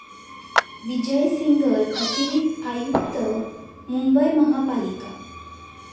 विजय सिंघल, अतिरिक्त आयुक्त, मुंबई महापालिका.